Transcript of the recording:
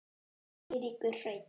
Eiríkur Hreinn.